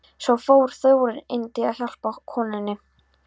Svo fór Þórunn inn til að hjálpa konunni.